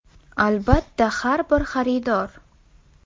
Albatta, har bir xaridor.